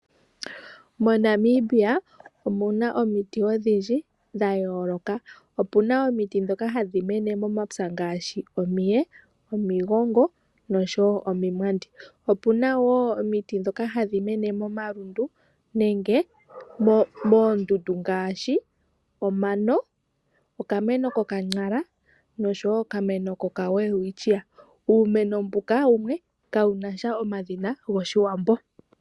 Monamibia omuna omiti odhindji dha yooloka. Opjna omiti ndhoka hadhi mene momapya ngaashi n omiye, omigongo noshowo oomwandi. Opuna woo omiti ndhoka hadhi mene momalundu nenge moondundu ngaashi omano, okameno koka !nara oshowo okameno koka welwistchia. Uumeno mbuka wumwe kawuna omadhina goshiwambo.